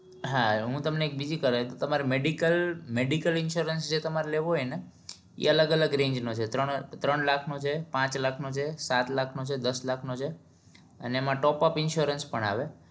હા હું તમને એક બીજી કરાઈ દઉં તમારી medical medical insurance જે તમાર લેવો હોય ને એ અલગ અલગ range નો છે ત્રણ ત્રણ લાખ નો છે પાંચ લાખ નો છે સાત લાખ નો છે દસ લાખ નો છે અને એમાં ટોપઅપ insurance પણ આવે